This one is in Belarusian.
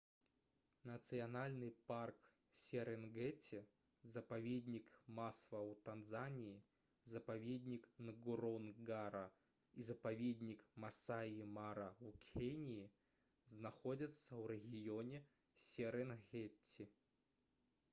нацыянальны парк серэнгэці запаведнік масва ў танзаніі запаведнік нгоронгара і запаведнік масаі мара ў кеніі знаходзяцца ў рэгіёне серэнгеці